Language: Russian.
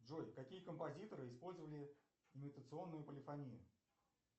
джой какие композиторы использовали имитационную полифонию